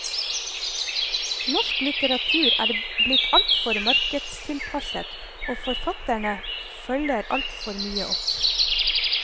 Norsk litteratur er blitt altfor markedstilpasset, og forfatterne følger altfor mye opp.